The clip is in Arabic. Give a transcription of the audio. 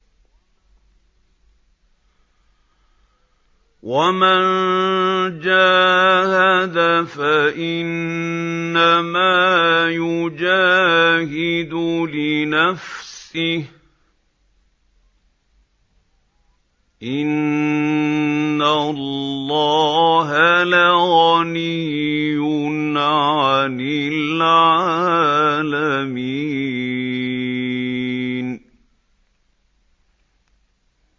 وَمَن جَاهَدَ فَإِنَّمَا يُجَاهِدُ لِنَفْسِهِ ۚ إِنَّ اللَّهَ لَغَنِيٌّ عَنِ الْعَالَمِينَ